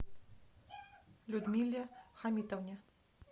людмиле хамитовне